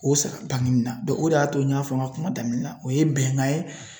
O sara bangini na dɔn o de y'a to n y'a fɔ n ka kuma daminɛ na o ye bɛnkan ye